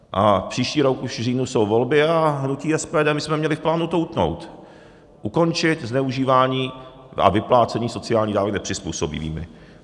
A příští rok už v říjnu jsou volby a hnutí SPD, my jsme měli v plánu to utnout, ukončit zneužívání a vyplácení sociálních dávek nepřizpůsobivým.